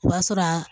O b'a sɔrɔ a